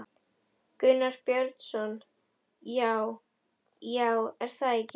Gunnar Björnsson: Já, já, er það ekki?